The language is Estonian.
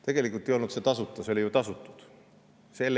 Tegelikult ei olnud tasuta, selle eest oli ju tasutud.